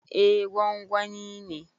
Eh, gwangwani ne